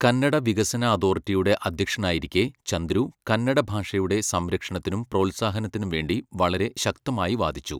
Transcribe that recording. കന്നഡ വികസന അതോറിറ്റിയുടെ അധ്യക്ഷനായിരിക്കെ ചന്ദ്രു കന്നഡ ഭാഷയുടെ സംരക്ഷണത്തിനും പ്രോത്സാഹനത്തിനും വേണ്ടി വളരെ ശക്തമായി വാദിച്ചു.